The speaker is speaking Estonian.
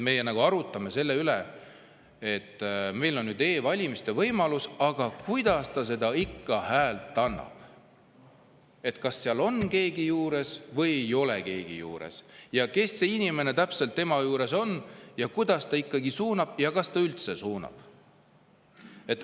Me nagu arutame selle üle, et meil on e-valimise võimalus, aga kuidas inimene oma hääle annab, kas seal on keegi juures või ei ole keegi juures, ja kes see inimene tema juures on ja kuidas ta ikkagi suunab ja kas ta üldse suunab.